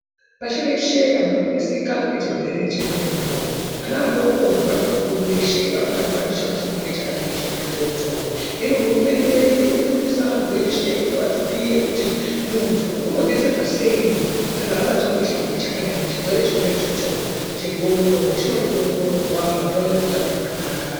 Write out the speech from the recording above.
Pashi reshe anhu arikuneseka nechirwere chendxondo ana adoko nevantu vakuru veshe varikubatwa ndichona chirwere chakadai chona ichocho hino hurumende irikufundisa antu eshe kuti vaziye kuti muntu unotserwa sei kana abatwa ngechirwere chakadai chirwere chona ichocho chendxondo chinoda kuongororwa vanhu babe neutano hwakanaka.